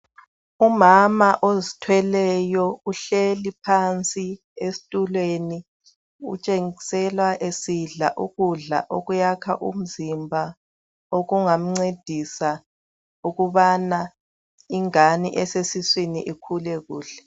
Umama ozithweleyo uhleli phansi esitulweni , utshengisela esidla ukudla okuyakha umzimba okungamcedisa ukubana ingabe esesiswini ikhule kuhle